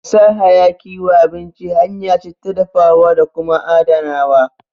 Sa hayaki wa abinci hanya ce ta dafawa da kuma adanawa